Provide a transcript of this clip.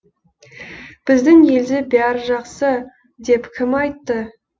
біздің елде бәрі жақсы деп кім айтты